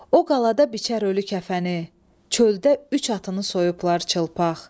O qalada biçər ölü kəfəni, çöldə üç atını soyublar çılpaq.